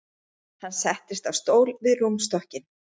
Hann settist á stól við rúmstokkinn.